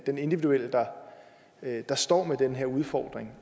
den individuelle der står med den her udfordring